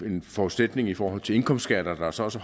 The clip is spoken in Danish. en forudsætning i forhold til indkomstskatter der så også